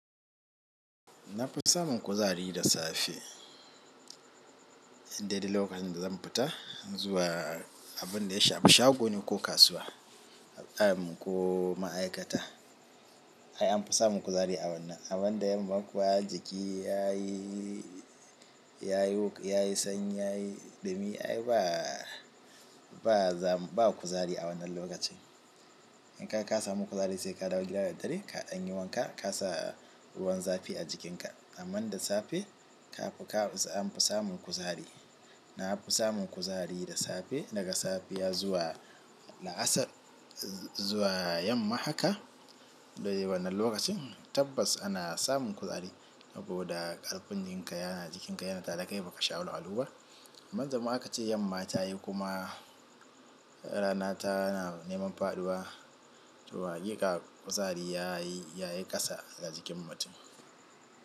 Na fi samun kuzari da safe, inda idan lokacin da zan fita zuwa abin da ya shafi shagone ko kasuwa ko ma'aikata. Ai an fi samun kuzari a wannan. Amman da yamma kuwa jiki ya yi, ya yi, ya yi sanyi, ya yi ɗumi ai ba, ba za, ba kuzari a wannan lokacin. In kaga ka samu kuzari sai ka ɗauki gidan dare ka an yi wanka ka sa ruwan zafi a jikinka. Amma da safe ka fi, ka an fi samun kuzari. Na fi samun kuzari da safe daga safiya zuwa la'asar zuwa yamma haka. Wannan lokacin tabbas ana samun kuzari saboda ƙarfin jikinka yana jikin ka yana tare da kai ba ka sha wahalhalu ba. Manzama aka ce yamma ta yi kuma rana ta na neman faɗuwa, to haƙiƙa ka kuzari ya yi, ya yi ƙasa daga jikin mutum.